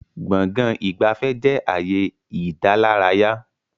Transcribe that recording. Gbọ̀ngán ìgbafẹ́ jẹ ààyè ìdálárayá